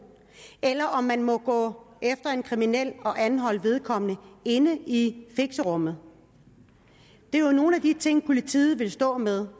eller om man må gå efter en kriminel og anholde vedkommende inde i fixerummet det er jo nogle af de ting politiet vil stå med